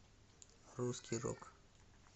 русский рок